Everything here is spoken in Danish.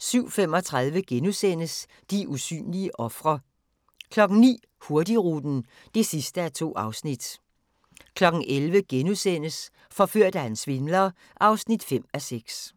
07:35: De usynlige ofre * 09:00: Hurtigruten (2:2) 11:00: Forført af en svindler (5:6)*